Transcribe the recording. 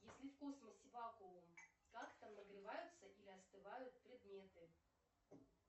если в космосе вакуум как там нагреваются или остывают предметы